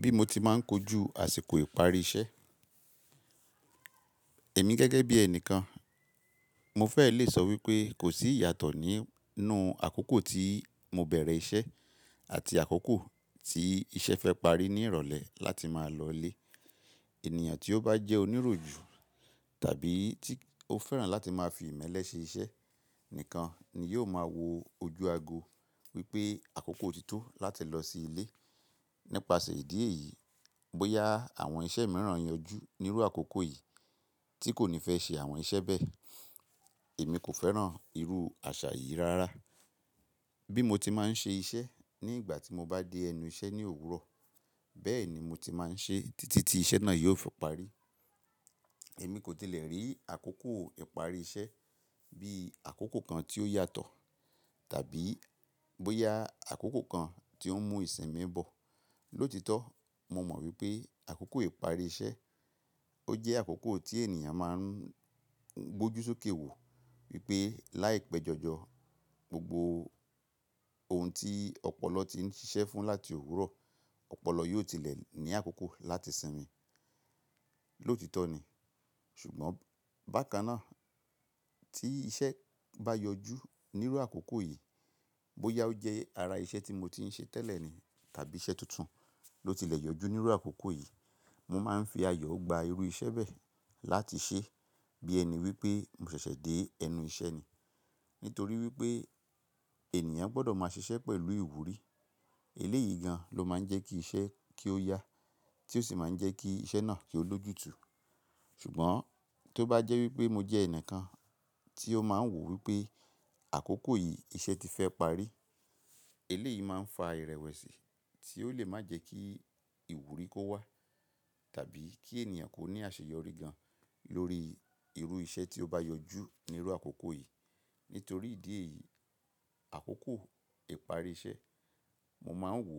Bí mo ti máa ń kojú àsìkò ìparí iṣẹ́. Èmi gẹ́gẹ́ bí ẹni kan, mo fẹ́ lè sọ wípé kò sí ìyàtọ̀ nínú àkókò tí mo bẹ̀rẹ̀ iṣẹ́ àti àkókò tí iṣẹ́ fẹ́ parí ní ìrọ̀lẹ́ láti máa lọlé. Ènìyàn tí ó bá jẹ́ oníròjú tàbí tí ó fẹ́ràn láti máa fi ìmẹ́lẹ́ ṣe iṣẹ́ nìkan ni yóò máa wo ojú ago wípé àkókò òtítọ́ láti lọ sí ilé. Nípasẹ̀ ìdí èyí, bóyá àwọn iṣẹ́ mìíràn yanjú nírú àkókò yìí tí kò ní fẹ́ ṣe àwọn iṣẹ́ bẹ́ẹ̀, èmi kò fẹ́ràn irú àṣà yìí rárá. Bí mo ti máa ń ṣe iṣẹ́ ní ìgbà tí mo bá dé ẹnu iṣẹ́ ní òwúrọ̀, bẹ́ẹ̀ ni mo ti máa ń ṣe títí tí iṣẹ́ náà yóò fọ parí. Èmi kò tilẹ̀ rí àkókò ìparí iṣẹ́ bí àkókò kan tí ó yàtọ̀ tàbí bóyá àkókò kan tí ó ń mú ìsinmi bọ̀. Lóòtítọ́, mo mọ̀ wípé àkókò ìparí iṣẹ́, ó jẹ́ àkókò tí ènìyàn máa ń gbójú sókè wò wípé láìpẹ́jọjọ, gbogbo ohun tí ọpọlọ ti ń ṣiṣẹ́ fún láti òwúrọ̀, ọpọlọ yóò tilẹ̀ ní àkókò láti sinmi. Lóòtítọ́ ni, ṣùgbọ́n bákan náà tí iṣẹ́ bá yọjú nínú àkókò yìí, bóyá ó jẹ́ ara iṣẹ́ tí mo ti ń ṣe tẹ́lẹ̀ ni tàbí iṣẹ́ tuntun ló tilẹ̀ yọjú nínú àkókò yìí, mo máa ń fi ayọ̀ gba irú iṣẹ́ bẹ́ẹ̀ láti ṣe bí ẹni wípé mo ṣẹ̀ṣẹ̀ dé ẹnu iṣẹ́ ni. Nítorí wípé ènìyàn gbọdọ̀ máa ṣiṣẹ́ pẹ̀lú ìwúrí. Eléyìí gan lọ máa ń jẹ́ kí iṣẹ́ kí ó yá tí ó sì máa ń jẹ́ kí iṣẹ́ náà yóò lójútù. Ṣùgbọ́n tó bá jẹ́ wípé mo jẹ́ ẹnìkan tí ó máa ń wò wípé àkókò yìí iṣẹ́ ti fẹ́ parí, eléyìí máa ń fa ìrẹ̀wẹ̀sì tí ó lè má jẹ́ kí ìwúrí kó wá tàbí kí ènìyàn kó ní àṣeyọrí gan lórí irú iṣẹ́ tí ó bá yọjú nírú àkókò yìí. Nítorí ìdí èyí, àkókò ìparí iṣẹ́, mo máa ń wò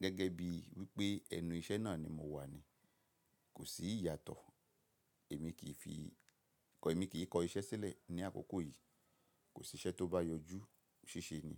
gẹ́gẹ́ bí wípé ẹnu iṣẹ́ náà ni mo wà ni, kò sí ìyàtọ̀. Ẹ̀mi kì í fi kọ, èmi kì í kọ iṣẹ́ sílẹ̀ ní àkókò yìí. Kò sí iṣẹ́ tó bá yọjú ṣíṣe ni.